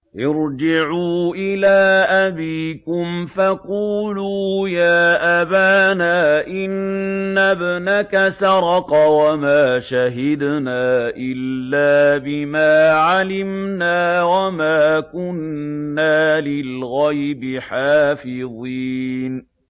ارْجِعُوا إِلَىٰ أَبِيكُمْ فَقُولُوا يَا أَبَانَا إِنَّ ابْنَكَ سَرَقَ وَمَا شَهِدْنَا إِلَّا بِمَا عَلِمْنَا وَمَا كُنَّا لِلْغَيْبِ حَافِظِينَ